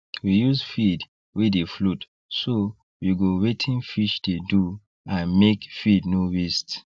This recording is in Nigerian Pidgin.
we use feed wey dey float so we go wetin fish dey do and make feed no waste